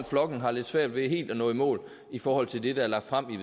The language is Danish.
flokken har lidt svært ved helt at nå i mål i forhold til det der er lagt frem i